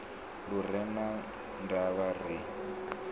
lu re na ndavha ri